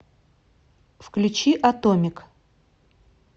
включи атомик